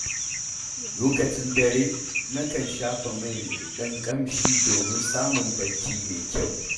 Lokacin dare, na kan shafa mai mai ɗan ƙamshi domin samun bacci mai kyau.